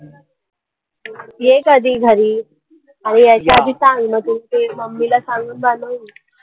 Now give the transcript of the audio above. ये कधी घरी आणि यायच्या आधी सांग मग mummy ला सांगून मी